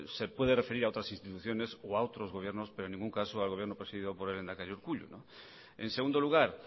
se puede referir a otras instituciones o a otros gobiernos pero en ningún caso al gobierno presidido por el lehendakari urkullu en segundo lugar